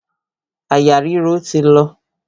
Àyà ríro ti lọ.